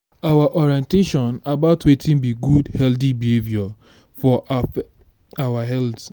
our orientation about wetin be good healthy behavior for our health